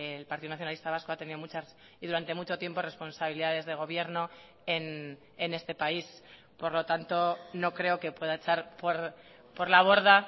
el partido nacionalista vasco ha tenido muchas y durante mucho tiempo responsabilidades de gobierno en este país por lo tanto no creo que pueda echar por la borda